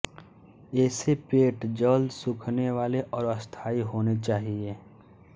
ऐसे पेंट जल्द सूखनेवाले और स्थायी होने चाहिए